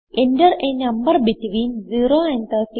Enter a number between 0 and 39